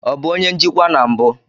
Ọ bụ onye njikwa na mbụ?